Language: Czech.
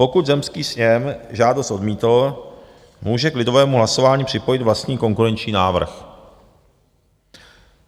Pokud zemský sněm žádost odmítl, může k lidovému hlasování připojit vlastní konkurenční návrh.